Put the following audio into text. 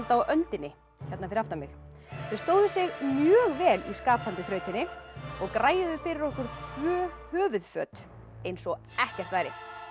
á öndinni fyrir aftan mig þau stóðu sig mjög vel í skapandi þrautinni og fyrir okkur tvö höfuðföt eins og ekkert væri